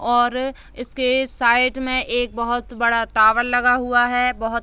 और इसके साइड में एक बहुत बड़ा टावर लगा हुआ है बहुत --